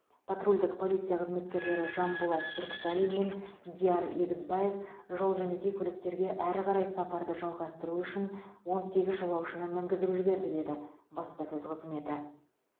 патрульдік полиция қызметкерлері жанболат бүркітәлин мен диар егізбаев жол жөнекей көліктерге әрі қарай сапарды жалғастыру үшін он сегіз жолаушыны мінгізіп жіберді деді баспасөз қызметі